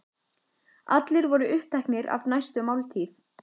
Allir voru uppteknir af næstu máltíð.